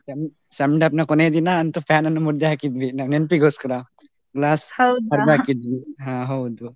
Sem send off ನ ಕೊನೆ ದಿನ ಅಂತೂ fan ಅನ್ನು ಮುರ್ದೇ ಹಾಕಿದ್ವಿ. ನಾವು ನೆನಪಿಗೋಸ್ಕರ. ಹೊಡೆದು ಹಾಕಿದ್ವಿ ಹಾ ಹೌದು.